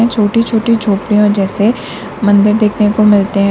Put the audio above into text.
छोटी छोटी झोपड़ियों जैसे मंदिर देखने को मिलते हैं।